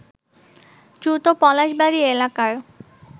দ্রুত পলাশবাড়ী এলাকার